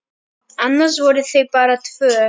Annars voru þau bara tvö.